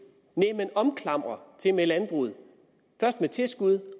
nej man omklamrer tilmed landbruget først med tilskud